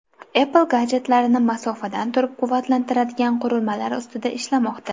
Apple gadjetlarni masofadan turib quvvatlantiradigan qurilmalar ustida ishlamoqda .